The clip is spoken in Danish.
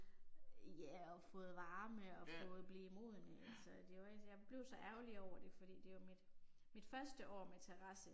Ja og fået varme og fået blive modne altså det rigtig jeg blev så ærgerlig over det fordi det er jo mit mit første år med terrasse